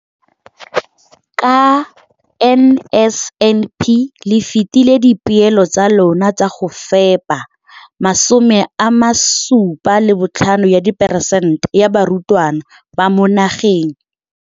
Ka NSNP le fetile dipeelo tsa lona tsa go fepa masome a supa le botlhano a diperesente ya barutwana ba mo nageng.